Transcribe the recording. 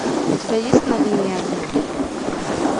у тебя есть на линии огня